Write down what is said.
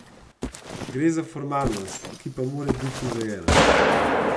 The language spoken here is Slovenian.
Gre za formalnost, ki pa mora biti urejena.